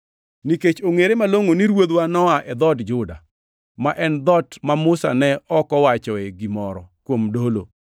Nikech ongʼere malongʼo ni Ruodhwa noa e dhood Juda, ma en dhoot ma Musa ne ok owacho gimoro kuom jodolo.